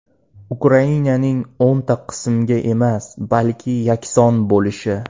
Ukrainaning o‘nta qismga emas, balki yakson bo‘lishi.